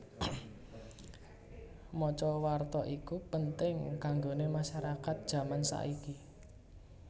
Maca warta iku penting kanggone masyarakat jaman saiki